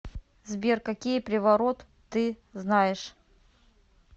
сбер какие приворот ты знаешь